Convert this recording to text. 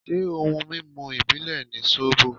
Ṣé ohun mímu ìbílè ni sóbò.?